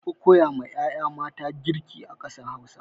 Anfi koya ma 'ya'ya mata girki a ƙasar Hausa.